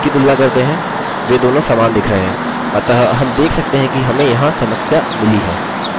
ठीक है तो इनकी तुलना करते हैं वे दोनों समान दिख रहे हैं अतः हम देख सकते हैं कि हमें यहाँ समस्या मिली है